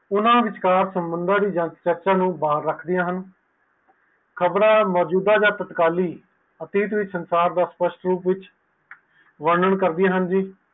ਊਨਾ ਵਿਚਕਾਰ ਸੰਬੰਦਾ ਦੀ ਜਨਸੇਕਤਾ ਨੂੰ ਬਾਰ ਰੱਖਦਿਆਂ ਹਨ ਖ਼ਬਰ ਮੌਜੂਦਾ ਆ ਸਟਕਾਲੀ ਵਿਚ ਸਰਕਾਰ ਦਾ ਵਰਨਣ ਕਰਦਿਆਂ ਹਨ